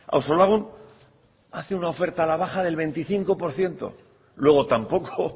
auzolagun hace una oferta a la baja del veinticinco por ciento luego tampoco